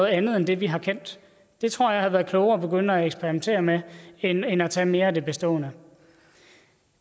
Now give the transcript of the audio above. andet end det vi har kendt det tror jeg havde været klogere at begynde at eksperimentere med end at tage mere af det bestående